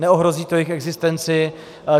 Neohrozí to jejich existenci.